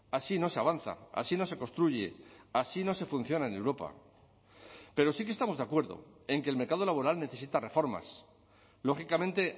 así no se avanza así no se construye así no se funciona en europa pero sí que estamos de acuerdo en que el mercado laboral necesita reformas lógicamente